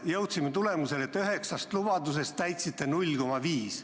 Jõudsime tulemusele, et üheksast lubadusest täitsite 0,5.